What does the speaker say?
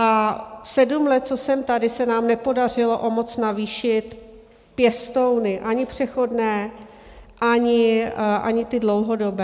A sedm let, co jsem tady, se nám nepodařilo o moc navýšit pěstouny ani přechodné, ani ty dlouhodobé.